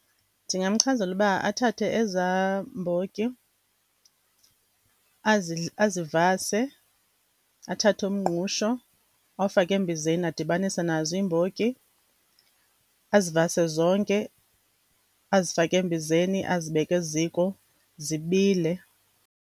Ndingamchazela uba athathe ezaa mbotyi azivase, athathe umngqusho awufake embizeni adibanise nazo iimbotyi, azivase zonke, azifake embizeni, azibeke eziko, zibile.